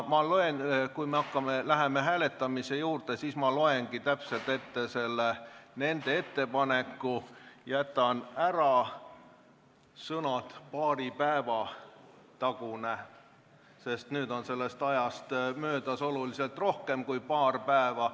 Ja kui me läheme hääletamise juurde, siis ma loengi täpselt ette nende ettepaneku, jätan vaid ära sõnad "paari päeva tagune", sest nüüd on sellest ajast möödas märksa rohkem kui paar päeva.